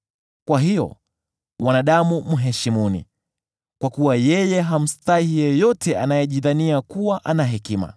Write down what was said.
Kwa hiyo, wanadamu mheshimuni, kwa kuwa yeye hamstahi yeyote anayejidhania kuwa ana hekima.”